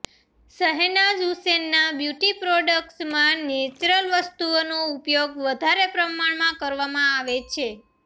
શહેનાઝ હુસેનના બ્યુટી પ્રોડ્ક્ટસમાં નેચરલ વસ્તુઓનો ઉપયોગ વધારે પ્રમાણમાં કરવામાં આવે છે